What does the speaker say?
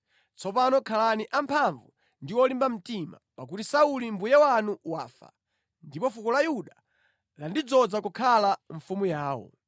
Tsopano khalani amphamvu ndi olimba mtima, pakuti Sauli mbuye wanu wafa, ndipo fuko la Yuda landidzoza kukhala mfumu yawo.”